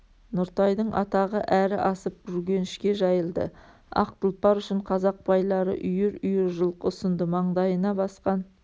нұртайдың атағы әрі асып үргенішке жайылды ақ тұлпар үшін қазақ байлары үйір-үйір жылқы ұсынды маңдайына басқан